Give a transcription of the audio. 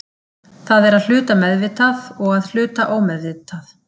Það er að hluta meðvitað og að hluta ómeðvitað.